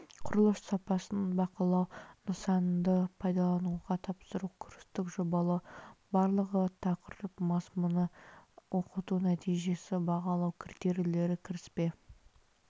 құрылыс сапасын бақылау нысанды пайдалануға тапсыру курстық жобалау барлығы тақырып мазмұны оқыту нәтижесі бағалау критерийлері кіріспе